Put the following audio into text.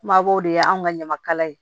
Kumabaw de ye anw ka ɲamakala ye